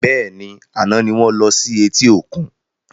Bẹ́ẹ̀ni, àná ni wọn lọ sí eti òkun